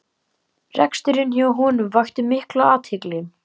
Reksturinn hjá honum vakti mikla athygli